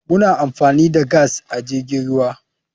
Muna amfani da gas a jirgin ruwa.